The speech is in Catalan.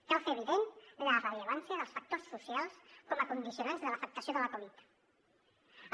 cal fer evident la rellevància dels factors socials com a condicionants de l’afectació de la covid dinou